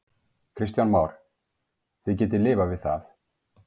Kristján Már: Þið getið lifað við það?